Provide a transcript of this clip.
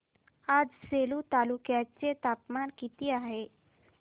आज सेलू तालुक्या चे तापमान किती आहे